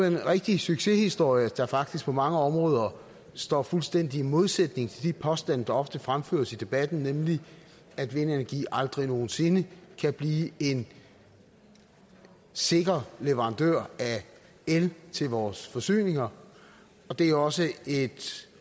en rigtig succeshistorie der faktisk på mange områder står fuldstændig i modsætning til de påstande der ofte fremføres i debatten nemlig at vindenergi aldrig nogen sinde kan blive en sikker leverandør af el til vores forsyninger og det er også et